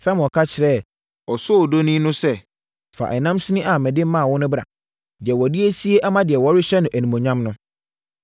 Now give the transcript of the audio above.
Samuel ka kyerɛɛ osoodoni no sɛ, “Fa ɛnam sini a mede maa wo no bra, deɛ wɔde asie ama deɛ wɔrehyɛ no animuonyam no.”